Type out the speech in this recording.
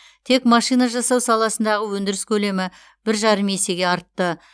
тек машина жасау саласындағы өндіріс көлемі бір жарым есеге артты